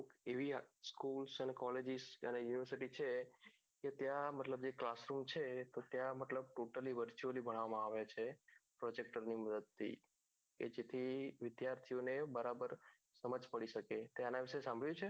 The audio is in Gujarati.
એવી આહ school અને collage શિક્ષણ univarsity છે તો ત્યાં મતલબ class નું છે તો ત્યાં મતલબ total ભણાવામો આવે છે projector ની માંદદથી કે જેથી વિદ્યાર્થી ને બરાબર સમાજ પડી શકે છે તેઆના વિષે સાભળ્યું છે